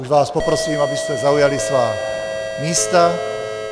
Už vás poprosím, abyste zaujali svá místa.